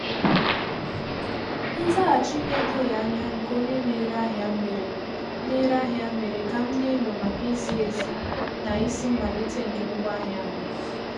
Nzaghachi na-edoghị anya nke onye na-ere ahịa mere na-ere ahịa mere ka m n'enyo maka izi ezi na isi mmalite nke ngwaahịa ahụ.